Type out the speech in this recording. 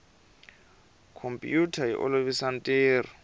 khompiyuta yi olovisa ntirho